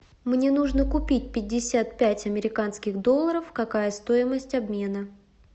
мне нужно купить пятьдесят пять американских долларов какая стоимость обмена